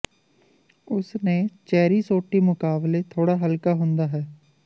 ਉਸ ਨੇ ਚੈਰੀ ਸੋਟੀ ਮੁਕਾਬਲੇ ਥੋੜਾ ਹਲਕਾ ਹੁੰਦਾ ਹੈ